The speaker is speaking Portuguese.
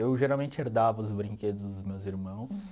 Eu geralmente herdava os brinquedos dos meus irmãos.